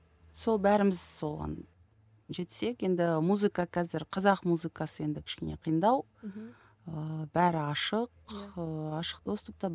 сол бәріміз соған жетсек енді музыка қазір қазақ музыкасы енді кішкене қиындау мхм ыыы бәрі ашық ыыы ашық доступта